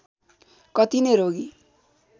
कति नै रोगी